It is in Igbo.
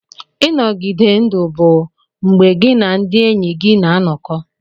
Ịnọgide ndụ bụ mgbe gị na ndị enyi gị na-anọkọ.